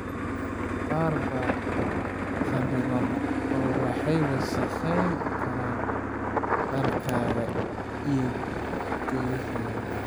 Qaar baa khariban oo waxay wasakhayn karaan dharkaaga iyo gogoshaada.